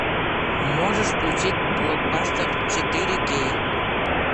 можешь включить блокбастер четыре кей